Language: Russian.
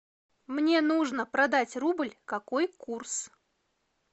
мне нужно продать рубль какой курс